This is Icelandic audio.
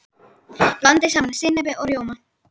Blandið saman sinnepi og rjóma.